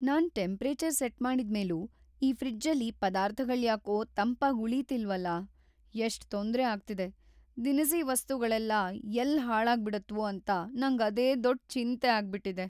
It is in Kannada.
ನಾನ್ ಟೆಂಪ್ರೇಚರ್ ಸೆಟ್ ಮಾಡಿದ್ಮೇಲೂ ಈ ಫ್ರಿಜ್ಜಲ್ಲಿ ಪದಾರ್ಥಗಳ್ಯಾಕೋ ತಂಪಾಗ್ ಉಳೀತಿಲ್ವಲ್ಲ, ಎಷ್ಟ್‌ ತೊಂದ್ರೆ ಆಗ್ತಿದೆ.. ದಿನಸಿ ವಸ್ತುಗಳೆಲ್ಲ ಎಲ್ಲ್ ಹಾಳಾಗ್ಬಿಡತ್ವೋ ಅಂತ ನಂಗ್ ಅದೇ ದೊಡ್ಡ್ ಚಿಂತೆ ಆಗ್ಬಿಟಿದೆ.